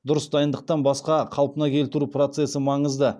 дұрыс дайындықтан басқа қалпына келтіру процесі маңызды